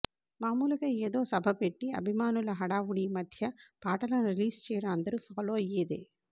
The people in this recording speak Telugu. మాములుగా ఏదో సభ పెట్టి అభిమానుల హడావిడి మధ్య పాటలను రిలీజ్ చేయడం అందరూ ఫాలో అయ్యేదే